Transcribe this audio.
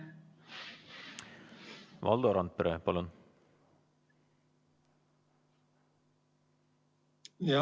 Valdo Randpere, palun!